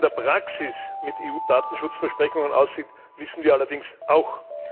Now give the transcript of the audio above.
Wie es in der Praxis mit EU Datenschutzversprechungen aussieht, wissen wir allerdings auch.